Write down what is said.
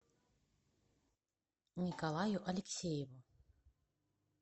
николаю алексееву